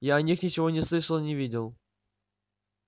я о них ничего не слышал и не видел